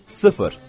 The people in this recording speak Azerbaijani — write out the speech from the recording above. Sıfır!